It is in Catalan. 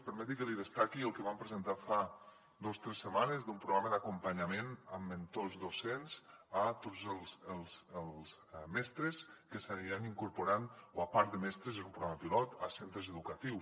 permeti’m que li destaqui el que vam presentar fa dos tres setmanes d’un programa d’acompanyament amb mentors docents a tots els mestres que s’aniran incorporant o a part de mestres és un programa pilot a centres educatius